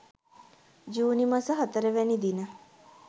ජුනි මස 04 වැනි දින